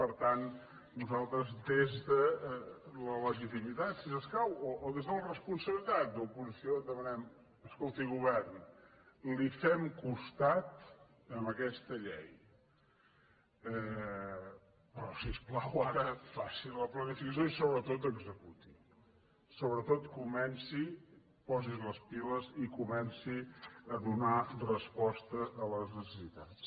per tant nosaltres des de la legitimitat si s’escau o des de la responsabi·litat d’oposició demanem escolti govern li fem cos·tat en aquesta llei però si us plau ara faci la planificació i sobretot executi sobretot comenci posi’s les piles i comenci a donar resposta a les necessitats